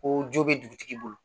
Ko jo be dugutigi bolo